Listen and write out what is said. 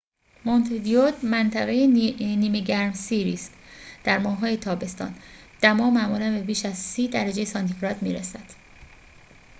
مونته‌ویدئو منطقه نیمه گرمسیری است در ماه‌های تابستان دما معمولاً به بیش از ۳۰ درجه سانتی‌گراد می‌رسد